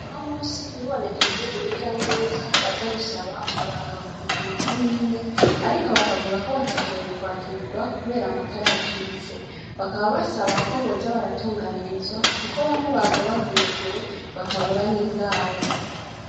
No musi hibonekeje uruja n'uruza baza gusaba uburanga muntu ku mako mine, ariko bakavuga ko batashoboye kwakirwa, kubera amatara yacitse bakaba basaba ko boza baratunganirizwa, kuko bamwe baza bavuye kure bakabura n'indaro.